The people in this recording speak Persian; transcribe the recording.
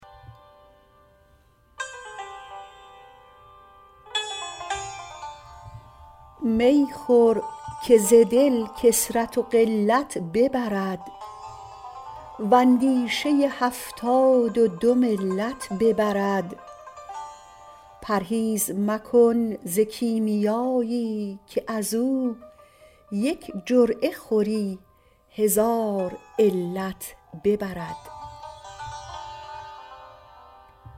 می خور که ز دل کثرت و قلت ببرد و اندیشه هفتاد و دو ملت ببرد پرهیز مکن ز کیمیایی که از او یک جرعه خوری هزار علت ببرد